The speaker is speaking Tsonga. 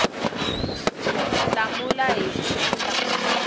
hlamula hi ku endla kunene